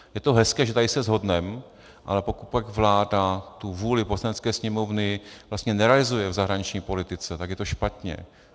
Je to hezké, že tady se shodneme, ale pokud pak vláda tu vůli Poslanecké sněmovny vlastně nerealizuje v zahraniční politice, tak je to špatně.